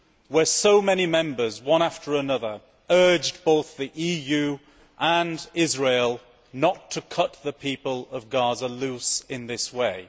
where so many Members, one after another, urged both the EU and Israel not to cut the people of Gaza loose in this way.